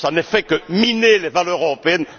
Cela ne fait que miner les valeurs européennes.